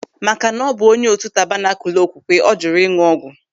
Makana ọ bụ onye otu Tabanakul Okwukwe ọ jụrụ ịñụ ọgwụ.